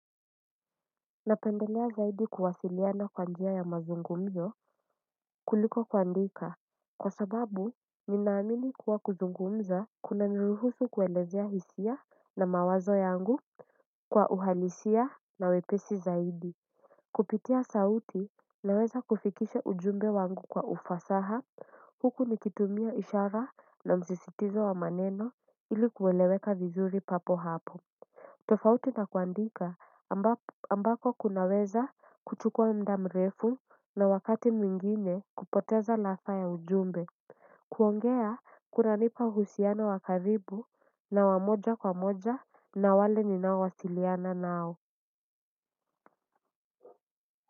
Napendelea zaidi kuwasiliana kwa njia ya mazungumzo kuliko kuandika kwa sababu ninaamini kuwa kuzungumza kuna niruhusu kuelezea hisia na mawazo yangu kwa uhalisia na wepesi zaidi kupitia sauti naweza kufikisha ujumbe wangu kwa ufasaha huku nikitumia ishara na msisitizo wa maneno ili kueleweka vizuri papo hapo tofauti na kuandika ambako kunaweza kuchukua muda mrefu na wakati mwingine kupoteza lafa ya ujumbe kuongea kunanipa uhusiano wa karibu na wamoja kwa moja na wale ninao wasiliana nao.